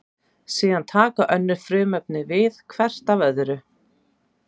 Síðan taka önnur frumefni við hvert af öðru.